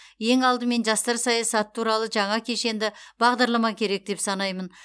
ең алдымен жастар саясаты туралы жаңа кешенді бағдарлама керек деп санаймын